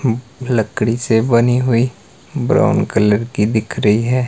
लकड़ी से बनी हुई ब्राउन कलर की दिख रही है।